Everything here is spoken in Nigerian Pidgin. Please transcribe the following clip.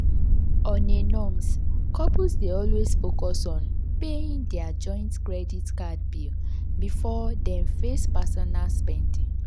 on a norms couples dey always focus on paying their joint credit card bill before dem face personal spending.